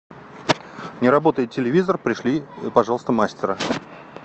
не работает телевизор пришли пожалуйста мастера